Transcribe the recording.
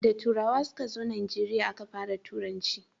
da turawa su ka zo najeriya a Ka fara turanci